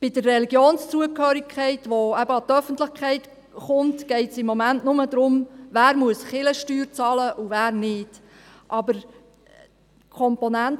Bei der Religionszugehörigkeit, welche an die Öffentlichkeit gelangt, geht es momentan nur darum, wer Kirchensteuern bezahlen muss und wer nicht.